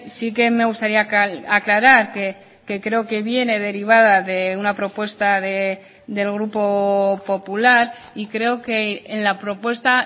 sí que me gustaría aclarar que creo que viene derivada de una propuesta del grupo popular y creo que en la propuesta